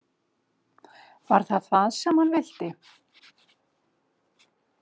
Var það það sem hann vildi?